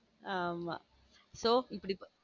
ஆமா சோ இப்படி.